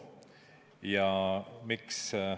Ja miks?